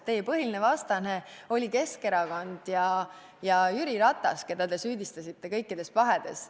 Teie põhiline vastane oli varem ka Keskerakond ja Jüri Ratas, keda te süüdistasite kõikides pahedes.